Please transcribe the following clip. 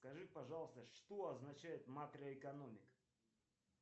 скажи пожалуйста что означает макроэкономика